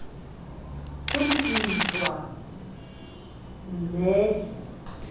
ho le dintwa vmme e